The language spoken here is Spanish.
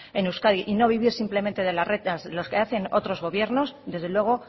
en euskadi y no vivir simplemente de las rentas los que hacen otros gobiernos desde luego